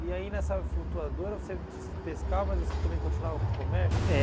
E aí nessa flutuadora, você disse que pescava, mas você também continuava com o comércio? É